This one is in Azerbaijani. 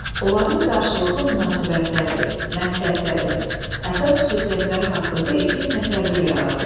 Onların qarşılıqlı münasibətləri, məqsədləri, əsas xüsusiyyətləri haqqında ilkin təsəvvür yaradılır.